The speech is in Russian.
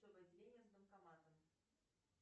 отделение с банкоматом